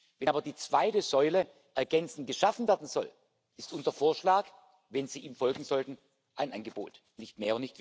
Wenn aber die zweite Säule ergänzend geschaffen werden soll, ist unser Vorschlag, wenn Sie ihm folgen sollten, ein Angebot nicht mehr und nicht weniger.